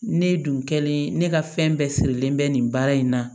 Ne dun kɛlen ne ka fɛn bɛɛ sirilen bɛ nin baara in na